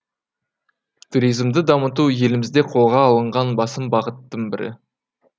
туризмді дамыту елімізде қолға алынған басым бағыттың бірі